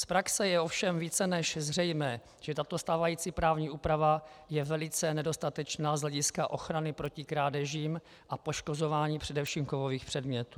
Z praxe je ovšem více než zřejmé, že tato stávající právní úprava je velice nedostatečná z hlediska ochrany proti krádežím a poškozování především kovových předmětů.